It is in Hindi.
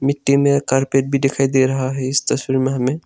मिट्टी मे कारपेट दिखाई दे रहा है इस तस्वीर में हमें।